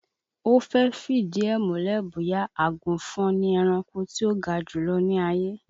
Ó fẹ́ fìdí ẹ̀ múlẹ̀ bóyá àgùnfọn ni ẹranko tí ó ga jùlọ ní ayé